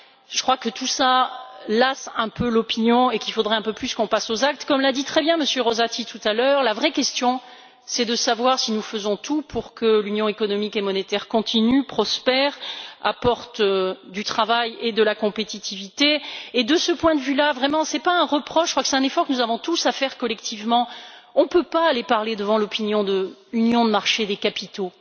Je crois que tout cela lasse un peu l'opinion et qu'il faudrait un peu plus passer aux actes. M. Rosati l'a très bien dit tout à l'heure, la vraie question est de savoir si nous faisons tout pour que l'Union économique et monétaire continue, prospère, apporte du travail et de la compétitivité. De ce point de vue là et ce n'est pas un reproche j'insiste juste sur l'effort que nous devons faire collectivement nous ne pouvons pas aller parler devant l'opinion de l'union de marchés des capitaux.